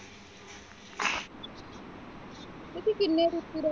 ਤੁਸੀਂ ਕਿੰਨੇ ਕੁੱਕੂ ਰੱਖੇ।